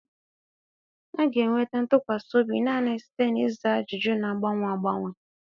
A ga-enweta ntụkwasị obi naanị site na ịza ajụjụ na-agbanwe agbanwe.